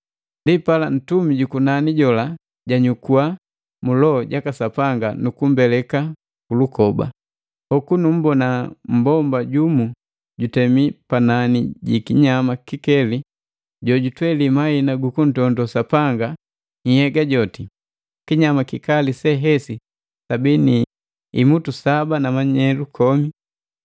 Ndipala ntumi jukunani jola janyukua mu Loho jaka Sapanga nu kumbeleka kulukoba. Hoku nummbona mmbomba jumu jutemi panani ji kinyama kikeli jojutweli mahina gukuntondo Sapanga nhyega joti. Kinyama kikali se hesi sabii ni imutu saba na manyelu kome.